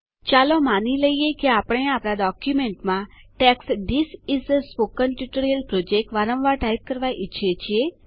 ચાલો માની લઈએ કે આપણે આપણા ડોક્યુમેન્ટમાં text this is a spoken tutorial project વારંવાર ટાઈપ કરવા ઈચ્છીએ છીએ